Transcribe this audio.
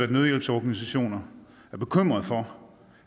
at nødhjælpsorganisationer er bekymret for